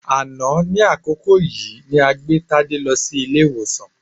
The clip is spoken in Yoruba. Àná ní àkókò yìí ni a gbé Tádé lọ sí ilé-ìwòsàn